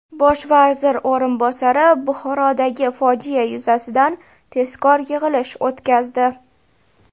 Bosh vazir o‘rinbosari Buxorodagi fojia yuzasidan tezkor yig‘ilish o‘tkazdi.